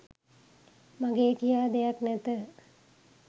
මගේ කියා දෙයක් නැත